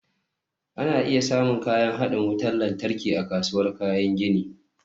Ana iya samun kayan haɗin wutar lantarki a kasuwar kayan gini